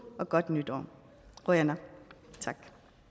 og godt nytår qujanaq tak